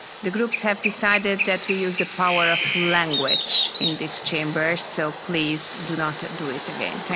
The groups have decided that we use the power of language in this Chamber, so please do not do it again.